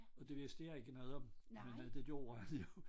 Og det vidste jeg ikke noget om men det gjorde han jo